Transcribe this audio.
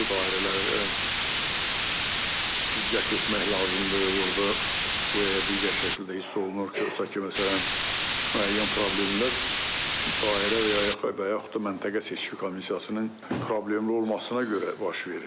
Hansı dairələrə diqqət etmək lazımdır, orda bu və ya digər şəkildə hiss olunur ki, ki, məsələn, müəyyən problemlər dairə və ya yaxud da məntəqə seçki komissiyasının problemli olmasına görə baş verir.